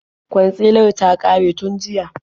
Kwansilar ta ƙare tun jiya.